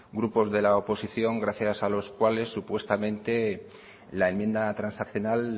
grupos de la oposición gracias a los cuales supuestamente la enmienda transaccional